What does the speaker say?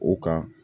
O kan